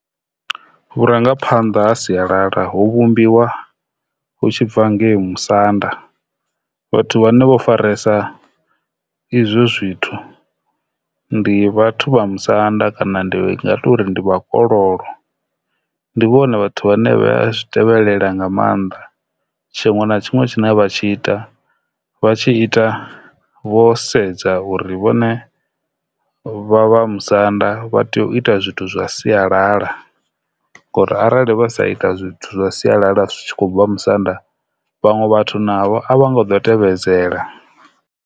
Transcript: Vhurangaphanḓa ha sialala ho vhumbiwa hu tshi bva ngei musanda vhathu vhane vho faresa izwo zwithu ndi vhathu vha musanda kana ndi nga tori ndi vhakololo ndi vhone vhathu vhane vha zwi tevhelela nga maanḓa tshiṅwe na tshiṅwe tshine vha tshi ita vha tshi ita vho sedza uri vhone vha vha musanda vha tea u ita zwithu zwa sialala ngori arali vha sa ita zwithu zwa sialala zwi khou bva musanda vhaṅwe vhathu navho a vha nga ḓo tevhedzela.